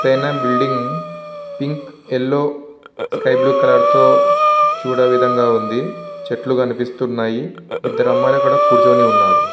ఎత్తైన building pink yellow sky blue colour తో చూడ విధంగా ఉంది చెట్లు కనిపిస్తున్నాయి ఇద్ధరు అమ్మాయిలు అక్కడ కూర్చుని ఉన్నారు.